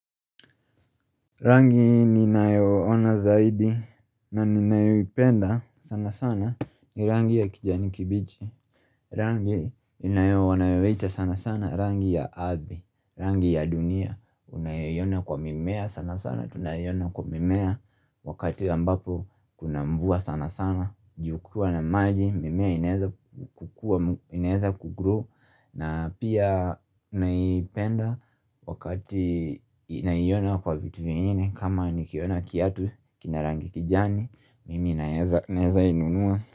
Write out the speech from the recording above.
Rangi ninayoona zaidi na ninayoipenda sana sana ni rangi ya kijani kibichi Rangi wanayoita sana sana, rangi ya ardhi, rangi ya dunia Unayoiona kwa mimea sana sana, tunayoiona kwa mimea wakati ambapo kuna mvua sana sana Ju kukiwa na maji, mimea inaeza kukua, inaeza kugro na pia naipenda wakati naiona kwa vitu vingine kama nikiona kiatu, kina rangi kijani Mimi naeza inunua.